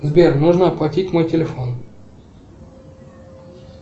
сбер нужно оплатить мой телефон